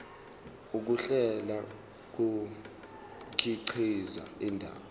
ukuhlela kukhiqiza indaba